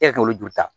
E ka olu joli ta